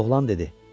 Oğlan dedi: